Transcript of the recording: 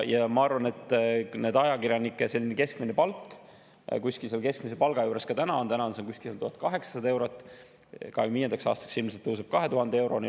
Ma arvan, et ajakirjanike keskmine palk kuskil keskmise palga juures ka täna on: praegu on see kuskil 1800 eurot, 2025. aastaks ilmselt tõuseb 2000 euroni.